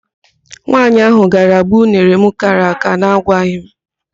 Nwaanyị ahụ gara gbuo unere m kara àká na agwaghị m.